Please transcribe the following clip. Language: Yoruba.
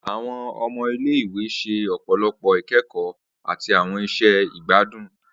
Awọn ọmọ ile-iwe ṣe ọpọlọpọ ikẹkọ ati awọn iṣẹ igbadun.